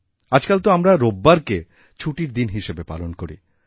আজকাল তো আমরা রোববারকে ছুটির দিন হিসাবে পালন করি